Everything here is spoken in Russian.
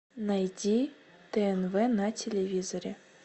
найти тнв на телевизоре